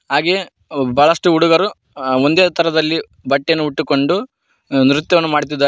ಹಾಗೆ ಬಹಳಷ್ಟು ಹುಡುಗರು ಅ ಒಂದೇ ತರದಲ್ಲಿ ಬಟ್ಟೆಯನ್ನು ಹೊಟ್ಟುಕೊಂಡು ಆ ನೃತ್ಯವನ್ನು ಮಾಡುತ್ತಿದ್ದಾರೆ.